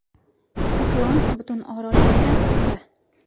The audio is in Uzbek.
Siklon butun orol bo‘ylab o‘tdi.